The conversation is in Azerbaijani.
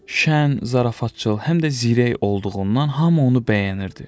Şən, zarafatcıl, həm də zirək olduğundan hamı onu bəyənirdi.